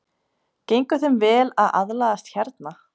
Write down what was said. Gengur þeim vel að aðlagast hérna?